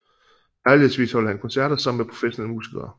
Lejlighedsvis holder han koncerter sammen med professionelle musikere